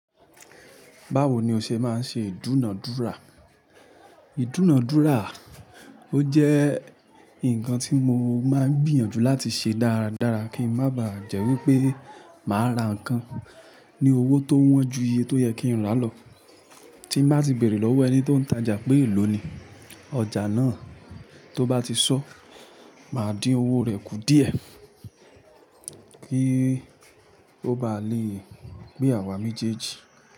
Báwo ni o ṣe máa ń ṣe ìdúnàádúrà? Ìdúnàádúrà, ó jẹ́ nǹkan tí mo máa ń gbìyànjú láti ṣe dáradára kí a má ba jẹ́ wípé màá ra nǹkan ní owó tó wọ́n ju iye tó yẹ kí n rà lọ. Tí màá ti bèrè lọ́wọ́ ẹni tó ń tajà pé elò ni ọjà náà, tó bá ti sọ, màá dín owó rẹ̀ kù díẹ̀ kí ó bá lè pé àwà mejẹ́ji.